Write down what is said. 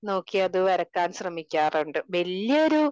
നോക്കി അത് വരക്കാൻ ശ്രെമിക്കാറുണ്ട്. വല്യ ഒരു